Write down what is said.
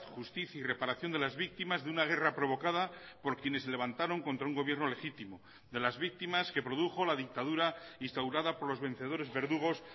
justicia y reparación de las víctimas de una guerra provocada por quienes se levantaron contra un gobierno legítimo de las víctimas que produjo la dictadura instaurada por los vencedores verdugos